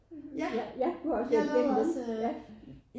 Ja jeg lavede også øh